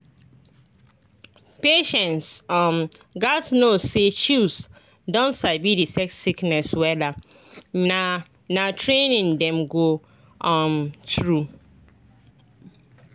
patients um gatz know say chws don sabi detect sickness wella na na training dem go um through.